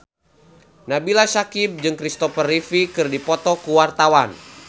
Nabila Syakieb jeung Kristopher Reeve keur dipoto ku wartawan